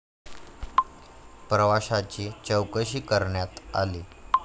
प्रवाशाची चौकशी करण्यात आली.